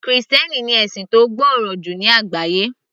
Krìstẹ́nì ni ẹ̀sìn tó gbòòrò jù ní àgbáyé